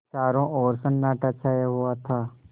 चारों ओर सन्नाटा छाया हुआ था